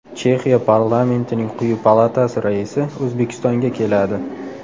Chexiya parlamentining quyi palatasi raisi O‘zbekistonga keladi.